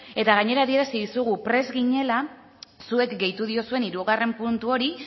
eta gainera adierazi dizugu prest ginela zuek gehitu diozuen hirugarren puntu hori